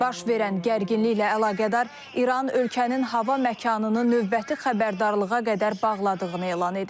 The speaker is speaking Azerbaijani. Baş verən gərginliklə əlaqədar İran ölkənin hava məkanını növbəti xəbərdarlığa qədər bağladığını elan edib.